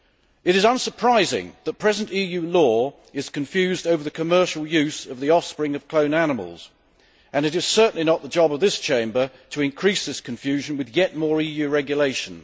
It is unsurprising that present EU law is confused over the commercial use of the offspring of cloned animals, and it is certainly not the job of this Chamber to increase this confusion with yet more EU regulation.